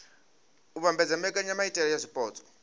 u vhambedza mbekanyamaitele ya zwipotso